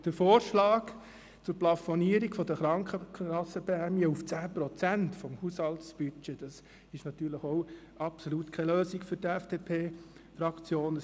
Der Vorschlag zur Plafonierung der Krankenkassenprämie auf 10 Prozent des Haushaltsbudgets ist natürlich auch absolut keine Lösung für die FDP-Fraktion;